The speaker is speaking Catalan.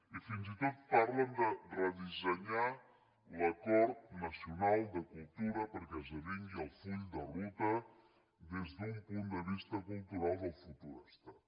i fins i tot parlen de redissenyar l’acord nacional de cultura perquè esdevingui el full de ruta des d’un punt de vista cultural del futur estat